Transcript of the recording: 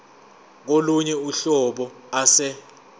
kolunye uhlobo ase